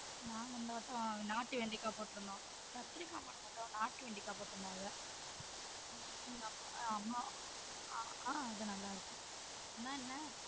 நாங்க இந்த வாட்டம் நாட்டு வெண்டைக்காய் போட்டு இருந்தோம் கத்திரிக்கா போடா மாட்டோம் நாடு வெண்டைக்க போட்டு இருந்தோம் அதுல ஆஹ் அது நல்லா இருக்கு ஆனா என்ன